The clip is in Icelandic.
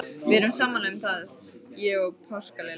Við erum sammála um það, ég og páskaliljan.